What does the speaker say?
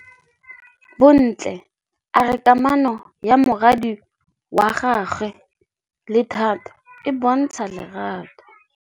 Bontle a re kamanô ya morwadi wa gagwe le Thato e bontsha lerato.